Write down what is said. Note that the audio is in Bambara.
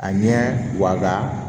A ɲɛ wa